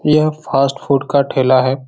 यह fast food का ठेला है।